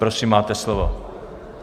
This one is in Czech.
Prosím, máte slovo.